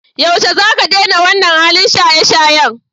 Yaushe zaka daina wannan halin shayeshayen?